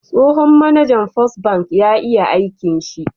Tsohon mAnajan first ban ya iya aikin shi